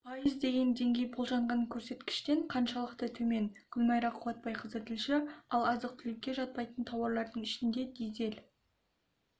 пайыз деген деңгей болжанған көрсеткіштен қаншалықты төмен гүлмайра қуатбайқызы тілші ал азық-түлікке жатпайтын тауарлардың ішінде дизель